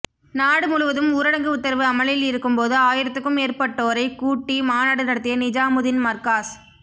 நாடு முழுவதும் ஊரடங்கு உத்தரவு அமலில் இருக்கும் போது ஆயிரத்துக்கும் மேற்பட்டோரைக் கூட்டி மாநாடு நடத்திய நிஜாமுதீன் மர்காஸ்